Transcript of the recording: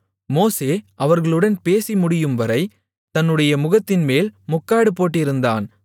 மோசே அவர்களுடன் பேசி முடியும்வரை தன்னுடைய முகத்தின்மேல் முக்காடு போட்டிருந்தான்